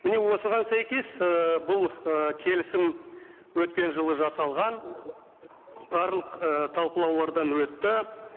міне осыған сәйкес ыыы бұл ы келісім өткен жылы жасалған барлық ыыы талқылаулардан өтті